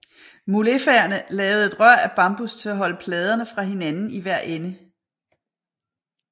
Mulefaerne lavede et rør af bambus til at holde pladerne fra hinanden i hver ende